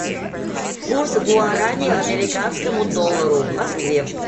курс гуарани американскому доллару в москве